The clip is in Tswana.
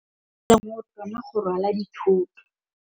maotwana go rwala dithôtô.